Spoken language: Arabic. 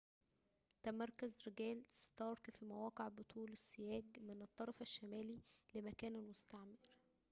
تمركز رجال ستارك في مواقع بطول السياج من الطرف الشمالي لمكان المستعمر